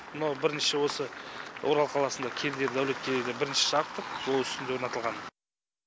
мынау бірінші осы орал қаласында кердері дәулеткерейде бірінші жарықтық жол үстінде орнатылған